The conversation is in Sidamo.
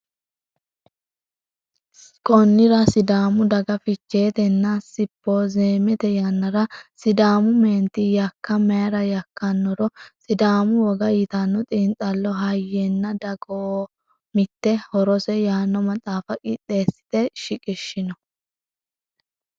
Konnira Sidaamu daga Ficheetenna simpoozemete yannara Sidaamu meenti yakka mayra yakkannoro Sidaamu woga yitanno xiinxallo Hayyenna Dagoomitte horose yaanno maxaafa qixxeessite shiqishshino.